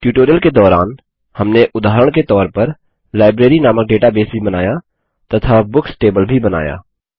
tutorial के दौरान हमने उदाहरण के तौर पर लाइब्रेरी नामक डेटाबेस भी बनाया तथा बुक्स टेबल भी बनाया